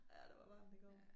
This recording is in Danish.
Ja det var varmt i går